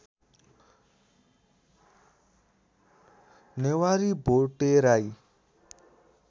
Newari Bhote Rai